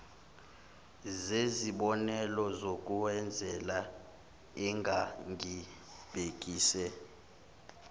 zezibonelo zokuzenzela engangibhekise